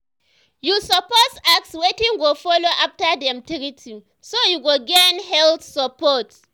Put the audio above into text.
you suppose ask wetin go follow after dem treat you so you go gain health support.